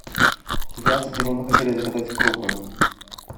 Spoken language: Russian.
здравствуйте мы бы хотели заказать крупы